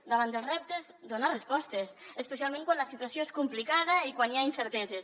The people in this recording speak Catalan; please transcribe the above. davant dels reptes donar respostes especialment quan la situació és complicada i quan hi ha incerteses